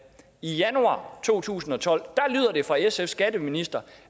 i januar to tusind og tolv lyder det fra sfs skatteminister